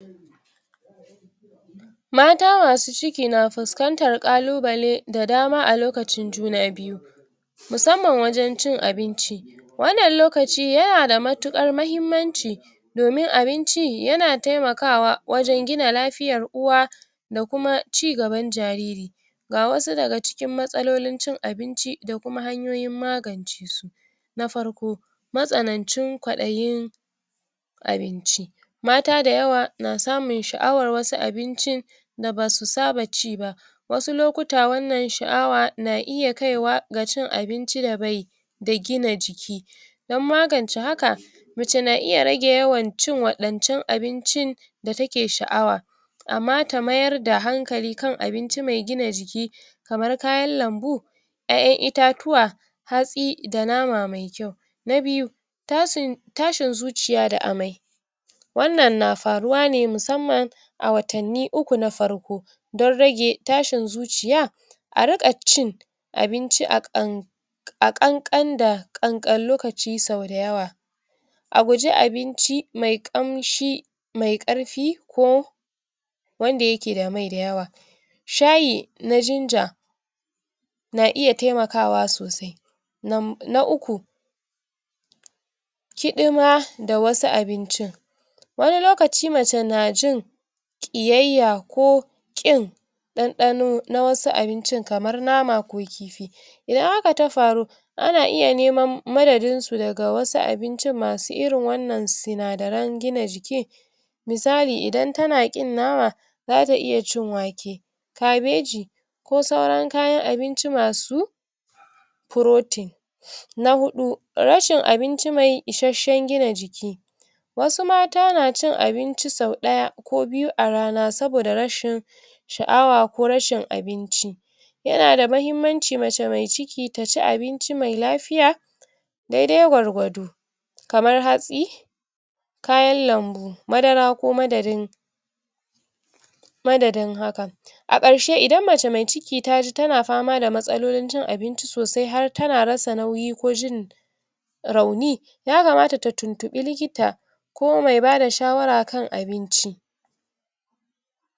mata masu ciki na fuskantar ƙalubale da dama a lokacin juna biyu musamman wajen cin abinci wannan lokaci yana da matuƙar mahimmanci domin abinci yana taimakawa wajen gina lafiyar uwa da kuma ci gaban jariri ga wasu daga cikin matsalolin cin abinci da kuma hanyoyin magance su. Na farko matsanancin kwadayin abinci mata da yawa na samun sha'awar wasu abincin da basu saba ci ba wasu lokuta wannan sha'awa na iya kaiwa ga iya cin abinci da bai da gina jiki don magance haka mace na iya rage yawan cin waɗancan abincin da take sha'awa amma ta mayar da hankali kan abinci mai gina jiki kamar kayan lambu ƴaƴan itatuwa hatsi da nama mai kyau. Na biyu tashi zuciya da amai wannan na faruwane musamman a watanni uku na farko don rage tashin zuciya a riƙa cin abinci a ƙan a ƙanƙan da ƙanƙan lokaci sau dayawa a guji abinci mai ƙamshi mai ƙarfi ko wanda yake da mai da yawa. Sahyi na jinja na iya taimakawa sosai. Na uku kiɗima da wasu abincin wani lokaci mace najin ƙiyayya ko ƙin ɗanɗano na wasu abincin kamar nama ko kifi idan haka ta faru ana iya neman madadin su daga wasu abincin masu irin wannan sinadaran gina jikin misali idan tana ƙin nama zata iya cin wake kabeji ko sauran kayan abinci masu protein. Na huɗu rashin abinci mai isashen gina jiki wasu mata na cin abinci sau ɗaya ko biyu a rana saboda rashin sha'awa ko rashin abinci. Yana da mahimmanci mace mai ciki taci abinci mai lafiya daidai gwargwado kamar hatsi kayan lambu madara ko madadin madadin hakan. A ƙarshe idan mace mai ciki taji tana fama da matsalolin cin abinci sosai har tana rasa nauyi ko jin rauni ya kamata ta tuntunɓi likita ko mai bada shawara kan abinci.